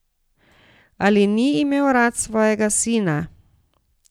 Ali ni imel rad svojega sina?